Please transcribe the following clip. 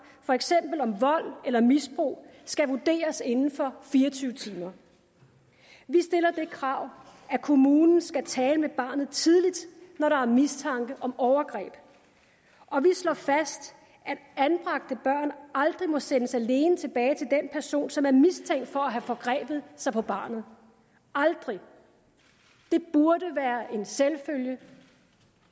for eksempel om vold eller misbrug skal vurderes inden for fire og tyve timer vi stiller det krav at kommunen skal tale med barnet tidligt når der er mistanke om overgreb og vi slår fast at anbragte børn aldrig må sendes alene tilbage til den person som er mistænkt for at have forgrebet sig på barnet aldrig det burde være en selvfølge